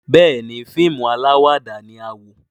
Béèni fíìmù alawada la wò.